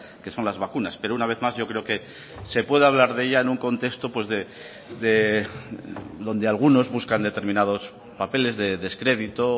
que son las vacunas pero una vez más yo creo que se puede hablar de ella en un contexto donde algunos buscan determinados papeles de descredito o